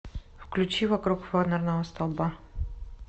включи вокруг фонарного столба